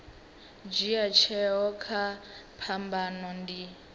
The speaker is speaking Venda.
dzhia tsheo kha phambano ndi